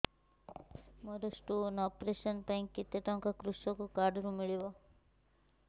ମୋର stone operation ପାଇଁ କେତେ ଟଙ୍କା କୃଷକ କାର୍ଡ ରୁ ମିଳିବ